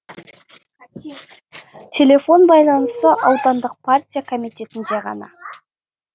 телефон байланысы аудандық партия комитетінде ғана